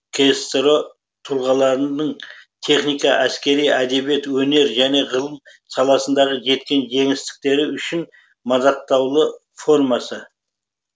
ксро тұлғаларының техника әскери әдебиет өнер және ғылым саласындағы жеткен жеңістіктері үшін мадақтаулы формасы